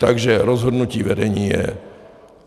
Takže rozhodnutí vedení je.